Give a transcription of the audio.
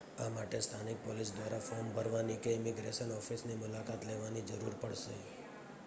આ માટે સ્થાનિક પોલીસ દ્વારા ફૉર્મ ભરવાની કે ઇમિગ્રેશન ઓફિસની મુલાકાત લેવાની જરૂર પડશે